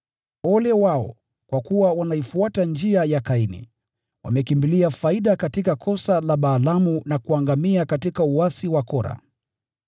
Ole wao! Kwa kuwa wanaifuata njia ya Kaini, wamekimbilia faida katika kosa la Balaamu na kuangamia katika uasi wa Kora.